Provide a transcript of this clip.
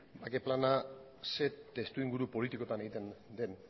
bake plana zer testuinguru politikoan egiten den